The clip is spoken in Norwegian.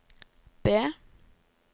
B